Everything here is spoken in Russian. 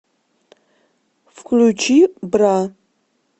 включи бра